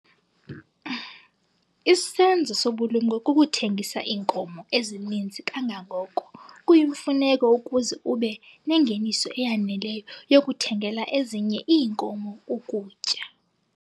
Isenzo sobulumko kukuthengisa iinkomo ezininzi kangangoko kuyimfuneko ukuze ube nengeniso eyaneleyo yokuthengela ezinye iinkomo ukutya.